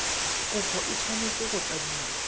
kopo e tshwanetse go tladiwa